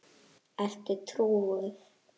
Ertu trúuð?